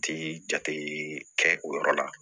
Ti jate kɛ o yɔrɔ la